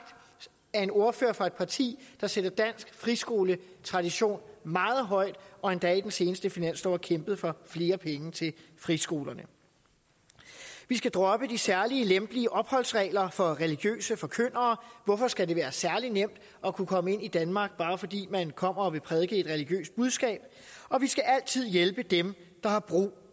af en ordfører fra et parti der sætter dansk friskoletradition meget højt og endda i den seneste finanslov har kæmpet for flere penge til friskolerne vi skal droppe de særlige lempelige opholdsregler for religiøse forkyndere hvorfor skal det være særlig nemt at kunne komme ind i danmark bare fordi man kommer og vil prædike et religiøst budskab og vi skal altid hjælpe dem der har brug